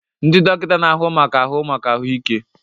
Ndị dọkịta na-ahụ maka ahụ maka ahụ ike.